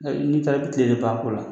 Nel ni taara i bɛ kilen de ban' a ko la.